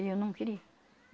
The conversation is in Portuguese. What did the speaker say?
E eu não queria.